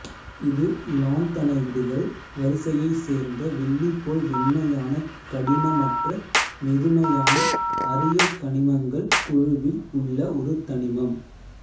இது லாந்த்தனைடுகள் வரிசையைச் சேர்ந்த வெள்ளி போல் வெண்மையான கடினமற்ற மெதுமையான அரிய கனிமங்கள் குழுவில் உள்ள ஒரு தனிமம்